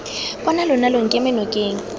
bona lona lo nkeme nokeng